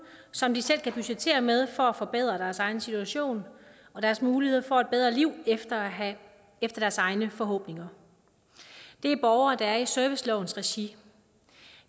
som de selv kan budgettere med for at forbedre deres egen situation og deres muligheder for et bedre liv efter efter deres egne forhåbninger det er borgere der er i servicelovens regi